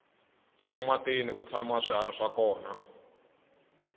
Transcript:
ematini ku tshama swihari swa kona